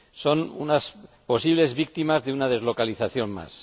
Son las posibles víctimas de una deslocalización más.